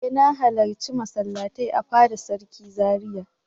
E! Na halarci masallatai a fada sarki Zaria.